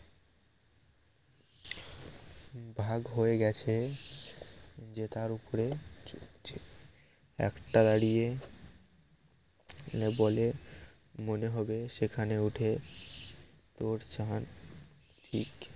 ভাগ হয়ে গেছে যে তার উপরে চরছে একটা দাঁড়িয়ে বলে মনে হবে সেখানে উঠে তোর চাঁদ ঠিক